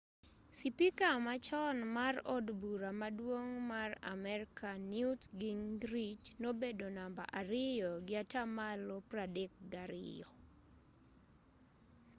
sipika machon mar od bura maduong' mar amerka newt gingrich nobedo namba ariyo gi atamalo 32